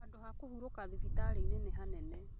Handũha kũhurũka thibitarĩinĩ nĩ hanene